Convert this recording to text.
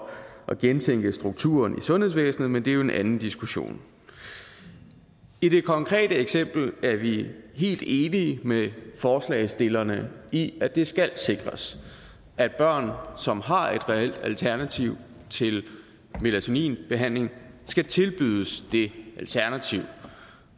at gentænke strukturen i sundhedsvæsenet men det er jo en anden diskussion i det konkrete eksempel er vi helt enige med forslagsstillerne i at det skal sikres at børn som har et reelt alternativ til melatoninbehandling skal tilbydes det alternativ